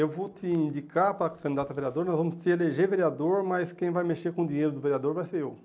Eu vou te indicar para candidato a vereador, nós vamos te eleger vereador, mas quem vai mexer com o dinheiro do vereador vai ser eu.